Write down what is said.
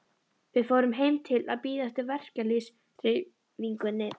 Við fórum heim til að bíða eftir verkalýðshreyfingunni.